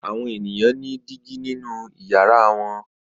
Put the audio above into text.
Àwọn ènìyàn ní dígí nínú ìyàrá wọn.